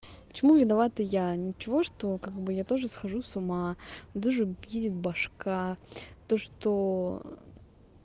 почему виновата я ничего что как бы я тоже схожу с ума даже едет башка то что